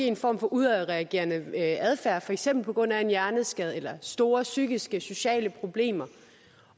en form for udadreagerende adfærd for eksempel på grund af en hjerneskade eller af store psykiske og sociale problemer